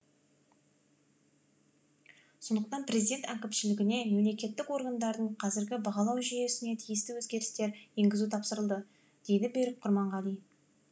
сондықтан президент әкімшілігіне мемлекеттік органдардың қазіргі бағалау жүйесіне тиісті өзгерістер енгізу тапсырылды дейді берік құрманғали